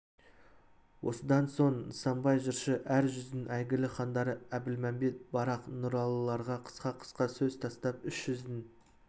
осыдан соң нысанбай жыршы әр жүздің әйгілі хандары әбілмәмбет барақ нұралыларға қысқа-қысқа сөз тастап үш жүздің